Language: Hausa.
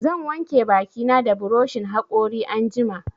Zan wanke baki na da buroshin haƙori anjima